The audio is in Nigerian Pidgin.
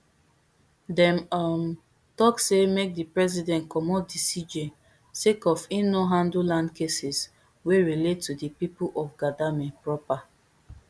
dem um tok say make di president comot di cj sake of im no handle land cases wey relate to di pipo of gadangme proper